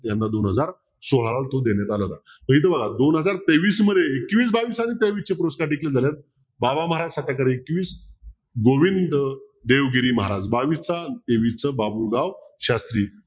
याना दोन हजार सोळावा तो देण्यात आला होता तर हित बघा दोन हजार तेवीस मध्ये एकवीस बावीस आणि तेवीस चे पुरस्कार declare झालेत एकवीस गोविंद देवगिरी महाराज बावीसचा तेवीसचा बाबुराव शास्त्री